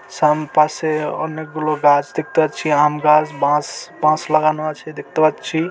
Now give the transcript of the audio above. পাশে অনেকগুলো গাছ দেখতে পাচ্ছি | আম গাছ বাঁশবাঁশ লাগানো আছে দেখতে পাচ্ছি।